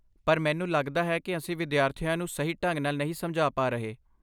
ਪਰ, ਮੈਨੂੰ ਲਗਦਾ ਹੈ ਕਿ ਅਸੀਂ ਵਿਦਿਆਰਥੀਆਂ ਨੂੰ ਸਹੀ ਢੰਗ ਨਾਲ ਨਹੀਂ ਸਮਝਾ ਪਾ ਰਹੇ।